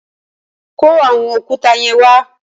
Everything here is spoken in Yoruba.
Kó àwọn òkúta yẹn wa.